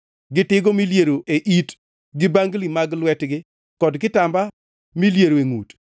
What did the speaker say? gi tigo miliero e it gi bangli mag lwetgi kod kitamba miliero e ngʼut,